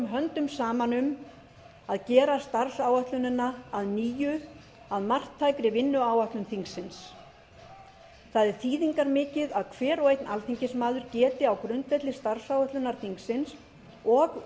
höndum saman um að gera starfsáætlunina að nýju að marktækri vinnuáætlun þingsins það er þýðingarmikið að hver og einn alþingismaður geti á grundvelli starfsáætlunar þingsins og